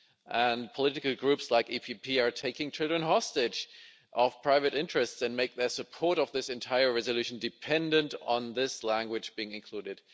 And political groups like the EPP are taking children hostage of private interests and make their support of this entire resolution dependent on this language being included.